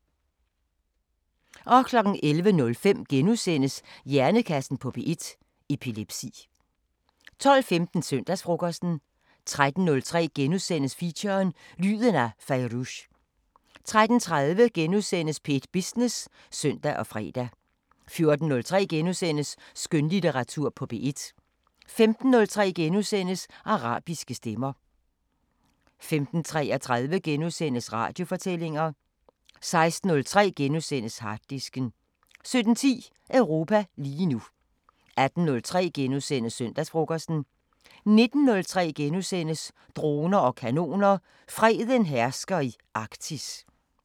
12:15: Søndagsfrokosten 13:03: Feature: Lyden af Fairuz * 13:30: P1 Business *(søn og fre) 14:03: Skønlitteratur på P1 * 15:03: Arabiske Stemmer * 15:33: Radiofortællinger * 16:03: Harddisken * 17:10: Europa lige nu 18:03: Søndagsfrokosten * 19:03: Droner og kanoner: Freden hersker i Arktis *